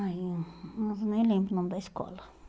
Ai, eu mas eu nem lembro o nome da escola.